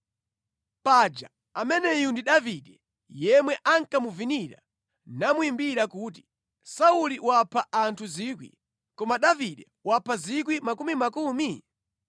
Paja ameneyu ndi Davide yemwe ankamuvinira namuyimbira kuti, “ ‘Sauli wapha anthu 1,000 koma Davide wapha miyandamiyanda?’ ”